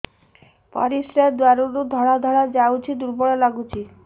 ପରିଶ୍ରା ଦ୍ୱାର ରୁ ଧଳା ଧଳା ଯାଉଚି ଦୁର୍ବଳ ଲାଗୁଚି